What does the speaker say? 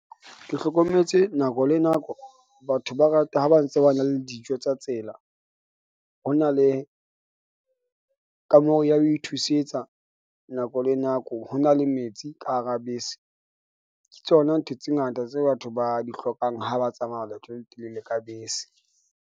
Ke hlokometse nako le nako batho ba rata ha ba ntse ba na le dijo tsa tsela. Ho na le kameho ya ho ithusetsa nako le nako. Ho na le metsi ka hara bese. Ke tsona ntho tse ngata tse batho ba di hlokang ha ba tsamaya leeto le letelele ka bese.